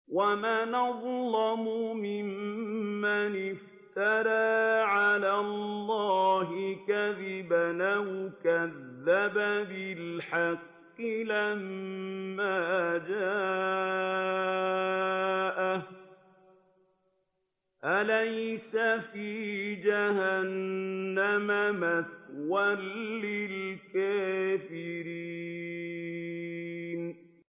وَمَنْ أَظْلَمُ مِمَّنِ افْتَرَىٰ عَلَى اللَّهِ كَذِبًا أَوْ كَذَّبَ بِالْحَقِّ لَمَّا جَاءَهُ ۚ أَلَيْسَ فِي جَهَنَّمَ مَثْوًى لِّلْكَافِرِينَ